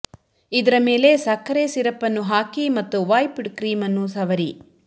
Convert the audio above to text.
ಇದರ ಮೇಲೆ ಸಕ್ಕರೆ ಸಿರಪ್ ಅನ್ನು ಹಾಕಿ ಮತ್ತು ವೈಪ್ಡ್ ಕ್ರೀಮ್ ಅನ್ನು ಸವರಿ